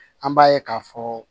An b'a ye k'a fɔ